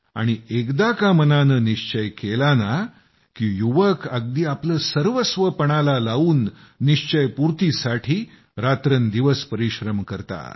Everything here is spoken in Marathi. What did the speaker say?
आणि एकदा का मनानं निश्चय केला केला ना की युवक अगदी आपलं सर्वस्व पणाला लावून निश्चयपूर्तीसाठी रात्रंदिवस परिश्रम करतात